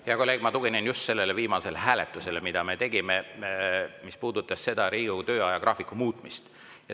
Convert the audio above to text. Hea kolleeg, ma tuginen just sellele viimasele hääletusele, mille me tegime ja mis puudutas Riigikogu töö ajagraafiku muutmist.